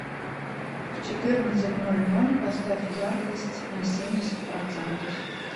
в четырнадцать ноль ноль поставь яркость на семьдесят процентов